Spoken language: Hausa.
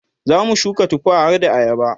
zamu shuka tufa harda ayaba